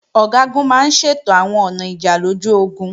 Ọ̀gágun máa ń ṣètò àwọn ọ̀nà ìjà lójú ogun